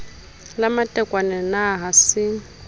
la matekwane na ha se